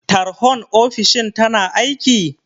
Tarhon ofishin tana aiki?